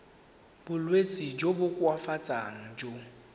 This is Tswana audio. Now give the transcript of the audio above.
bolwetsi jo bo koafatsang jo